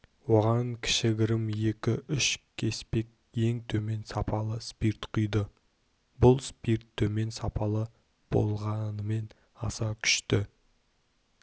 оған кішігірім екі-үш кеспек ең төмен сапалы спирт құйды бұл спирт төмен сапалы болғанымен аса күшті